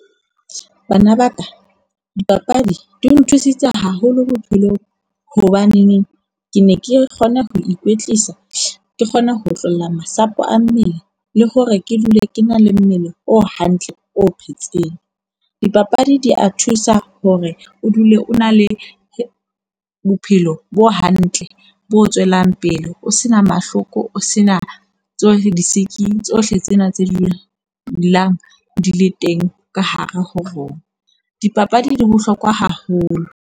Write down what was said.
Bana ba ka, dipapadi di nthusitse haholo bophelong. Hobaneneng ke ne ke kgona ho ikwetlisa. Ke kgona ho otlolla masapo a mmele le hore ke dule ke na le mmele o hantle, o phetseng. Dipapadi di a thusa hore o dule o na le bophelo bo hantle, bo tswelang pele. O se na mahloko, o se na tsohle disiki, tsohle tsena tse di line di le teng ka hare ho rona. Dipapadi di bohlokwa haholo.